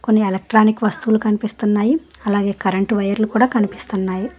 అన్నీ ఎలక్ట్రానిక్ వస్తువులు కనిపిస్తున్నాయి అలాగే కరెంటు వైర్లు కూడ కనిపిస్తున్నాయి.